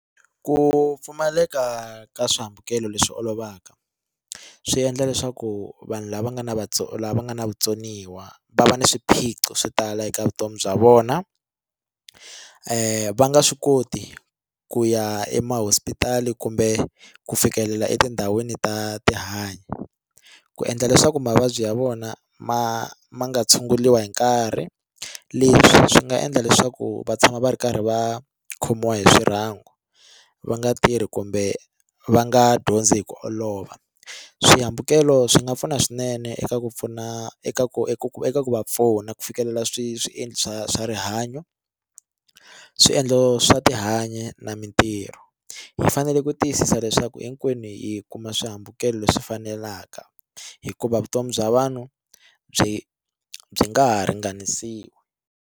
Ku pfumaleka ka swihambukelo leswi olovaka swi endla leswaku vanhu lava nga na lava nga na vutsoniwa va va na swiphiqo swo tala eka vutomi bya vona va nga swi koti ku ya emahosipistali kumbe ku fikelela etindhawini ta tihanyi ku endla leswaku mavabyi ya vona ma ma nga tshunguliwa hi nkarhi leswi swi nga endla leswaku va tshama va ri karhi va khomiwa hi swirhangu va nga tirhi kumbe va nga dyondzi hi ku olova swihambukelo swi nga pfuna swinene eka ku pfuna eka ku eku eka ku va pfuna ku fikelela swiendlo swa swa rihanyo swiendlo swa tihanyi na mitirho hi fanele ku tiyisisa leswaku hinkwenu hi kuma swihambukelo leswi fanelaka hikuva vutomi bya vanhu byi byi nga ha ringanisiwa.